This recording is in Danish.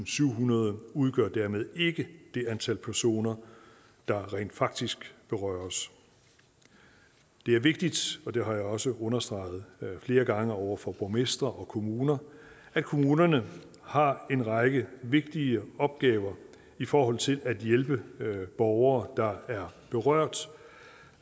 syvhundrede udgør dermed ikke det antal personer der rent faktisk berøres det er vigtigt og det har jeg også understreget flere gange over for borgmestre og kommuner at kommunerne har en række vigtige opgaver i forhold til at hjælpe borgere der er berørt